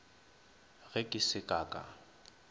ge ke se ka ka